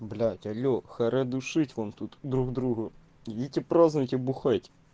блять алло хорош душит вам тут друг другу идите празднуйте бухать